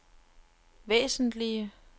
væsentlige